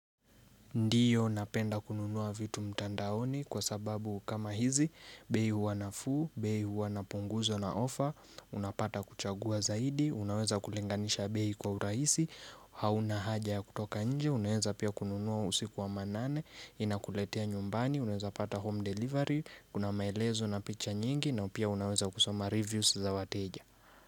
Ndiyo napenda kununua vitu mtandaoni kwa sababu kama hizi, bei huwa nafuu, bei huwa inapunguzwa na ofa, unapata kuchagua zaidi, unaweza kulinganisha bei kwa urahisi, hauna haja ya kutoka nje, unaweza pia kununua usiku wa manane, inakuletea nyumbani, unaweza pata home delivery, kunamaelezo na picha nyingi nao pia unaweza kusoma reviews za wateja.